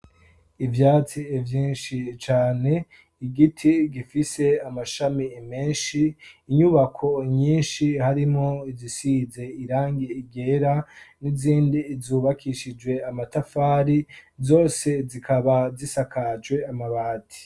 ivyatsi vyinshi cane, igiti gifise amashami menshi, inyubako nyinshi harimwo izisize irangi ryera n'izindi zubakishijwe amatafari zose zikaba zisakajwe amabati.